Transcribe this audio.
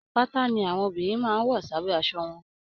Pátá ní àwọn ọmọbìnrin máa n wọ s'abẹ aṣọ wọn.